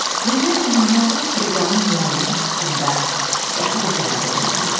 Və mən naməlum teleqramın müəllifi haqqında qəti bir qərara gələ bilmirdim.